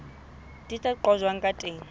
di ka qojwang ka teng